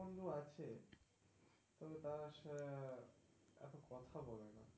বন্ধু আছে কিন্তু, তারা সে এত কথা বলে না.